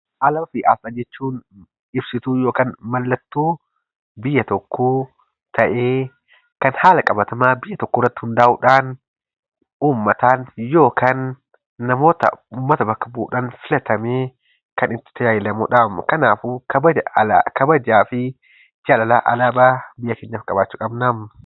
Alaabaa fi asxaa jechuun ibsituu (mallattoo) biyya tokkoo ta'ee kan haala qabatamaa biyya tokkoo irratti hundaa'uudhaan ummataan yookaan namoota ummata bakka bu'uudhaan filatameen kan itti tajaajilamuu dhaam. Kanaafuu, kabajaa fi jaalala alaabaa biyya keenyaaf qabaachuu qabnaam.